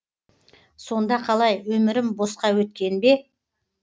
сонда қалай өмірім босқа өткен бе